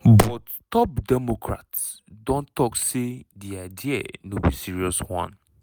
but top democrats don tok say di idea "no be serious one".